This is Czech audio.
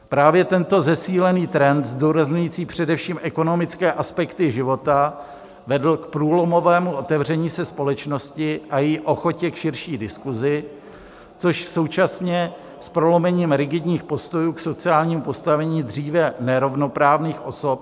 Právě tento zesílený trend zdůrazňující především ekonomické aspekty života vedl k průlomovému otevření se společnosti a její ochotě k širší diskusi, což současně s prolomením rigidních postojů k sociálnímu postavení dříve nerovnoprávných osob.